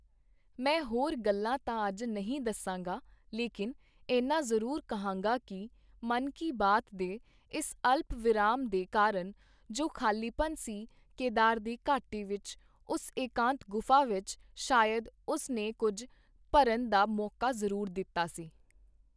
ਮੈਂ ਹੋਰ ਗੱਲਾਂ ਤਾਂ ਅੱਜ ਨਹੀਂ ਦੱਸਾਂਗਾ, ਲੇਕਿਨ ਇੰਨਾ ਜ਼ਰੂਰ ਕਹਾਂਗਾ ਕਿ, ਮਨ ਕੀ ਬਾਤ ਦੇ ਇਸ ਅਲਪ ਵਿਰਾਮ ਦੇ ਕਾਰਨ ਜੋ ਖ਼ਾਲੀਪਨ ਸੀ, ਕੇਦਾਰ ਦੀ ਘਾਟੀ ਵਿੱਚ, ਉਸ ਇਕਾਂਤ ਗੁਫ਼ਾ ਵਿੱਚ, ਸ਼ਾਇਦ ਉਸ ਨੇ ਕੁੱਝ ਭਰਨ ਦਾ ਮੌਕਾ ਜ਼ਰੂਰ ਦਿੱਤਾ ਸੀ।